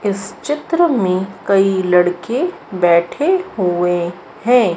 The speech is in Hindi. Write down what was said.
इस चित्र में कई लड़के बैठे हुए हैं।